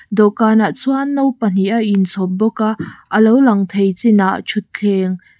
dawhkanah chuan no pahnih a inchhawp bawk a a lo lang thei chinah thuthleng--